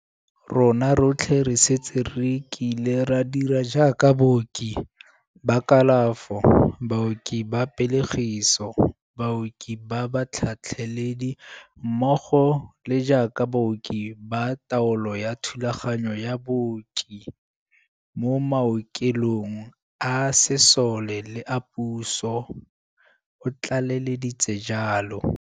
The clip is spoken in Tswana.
Rona rotlhe re setse re kile ra dira jaaka baoki ba kalafo, baoki ba pelegiso, baoki ba batlhatlheledi mmogo le jaaka baoki ba taolo ya thulaganyo ya booki mo maoke long a sesole le a puso, o tlale leditse jalo.